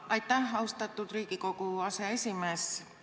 Aitäh, austatud Riigikogu aseesimees!